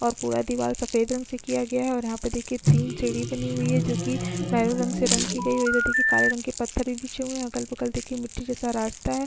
और पूरा दिवार सफ़ेद रंग से किया गया है और यहाँ पे तीन सीढ़ी बनी हुई है जो की मेहरून रंग से रंग की गयी है और इधर देखिये काले रंग के पत्थर बिछे हुए है अगल-बगल देखिये मिट्टी का रास्ता है।